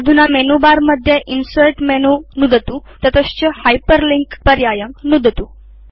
अधुना मेनुबारमध्ये insert menu नुदतु ततश्च हाइपरलिंक पर्यायं नुदतु